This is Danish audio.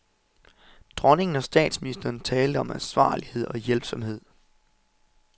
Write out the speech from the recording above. Dronningen og statsministeren talte om ansvarlighed og hjælpsomhed.